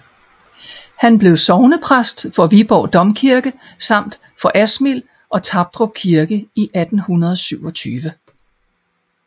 Han blev sognepræst for Viborg Domkirke samt for Asmild og Tapdrup Kirker i 1827